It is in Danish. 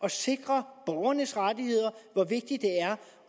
at sikre borgernes rettigheder hvor vigtigt det er